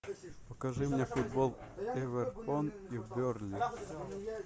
покажи мне футбол эвертон и бернли